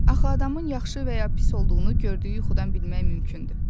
Axı adamın yaxşı və ya pis olduğunu gördüyü yuxudan bilmək mümkündür.